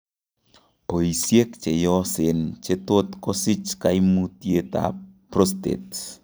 Boisiek cheyoseen kochetot kosich kaimutiet ab prostate